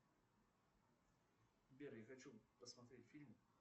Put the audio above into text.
сбер я хочу посмотреть фильм